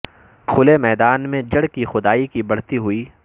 کھلے میدان میں جڑ کی کھدائی کی بڑھتی ہوئی